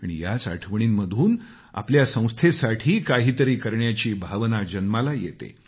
आणि याच आठवणींमधून आपल्या संस्थेसाठी काहीतरी करण्याची भावना जन्माला येते